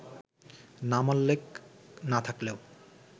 নামোল্লেখ না-থাকলেও